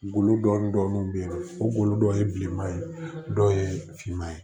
Golo dɔɔnin dɔɔnin bɛ yen nɔ o dɔw ye bilenman ye dɔw ye finman ye